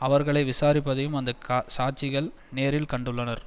அவர்களை விசாரிப்பதையும் அந்த சாட்சிகள் நேரில் கண்டுள்ளனர்